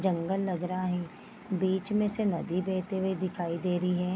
जंगल लग रहा है बीच में से नदी बेहते हुए दिखाई दे रही है।